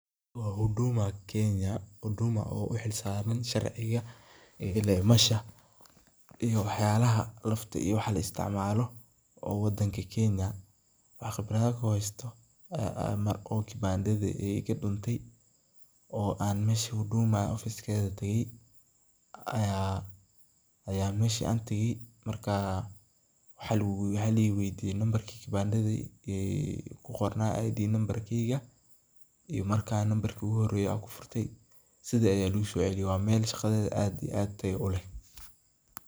Wa Huduma kenya huduma o u xilsaran sharciga laghela mesha iyo waxyalaha lafta o waxa la istacmalo wadanka kenya ,waxa khibraad ahan uhesto o kibanda iga dunte o an mesha huduma officce keda tagay aya ayan mesha tagaay marka waxa la iweydiye namarki kibanda dha ku qorna id number, iyo nambaar igu horeye an kufurtay sidha meshi laigu soceleye wa mel shaqadeda aad taayo uleh.